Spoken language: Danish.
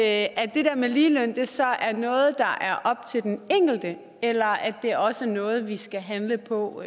at det der med ligelønnen så er noget der er op til den enkelte eller at det også er noget vi skal handle på